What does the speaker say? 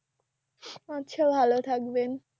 আচ্ছা ভালো থাকবেন